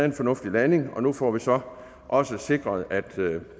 en fornuftig landing nu får vi så også sikret at